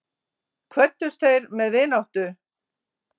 Kvöddust þeir með vináttu.